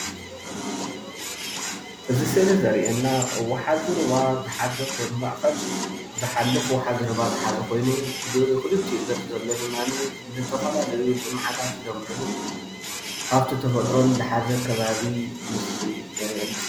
እዚ ስእሊ ዘርእየና ወሓዚ ዝሓዘ ሩባ ብማእከል ዝሓልፍ ወሓዚ ሩባ ዝሓዘ ኮይኑ ብክልቲኡ ገፅ ዘለው ድማ ዝተፈላለዩ ልምዓታት ዝለምዕሉ ሃፍቲ ተፈጥሮን ዝሓዘ ከባቢ የርእየና፡፡